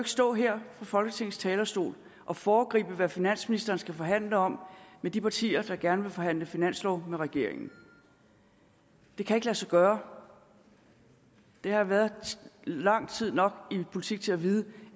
stå her fra folketingets talerstol og foregribe hvad finansministeren skal forhandle om med de partier der gerne vil forhandle finanslov med regeringen det kan ikke lade sig gøre jeg har været lang tid nok i politik til at vide